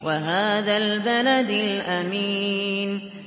وَهَٰذَا الْبَلَدِ الْأَمِينِ